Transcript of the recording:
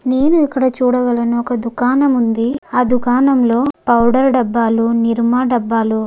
నేను ఇక్కడ చూడగలను ఒక దుకాణం ఉంది ఆ దుకాణం పౌడర్ డబ్బాలు నిర్మా డబ్బాలు.